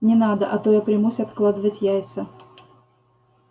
не надо а то я примусь откладывать яйца